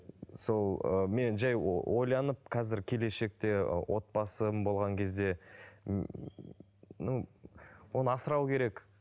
сол ыыы мен жай ойланып қазір келешекте отбасым болған кезде ну оны асырау керек